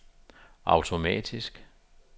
automatisk